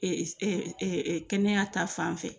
Eee kɛnɛya ta fan fɛ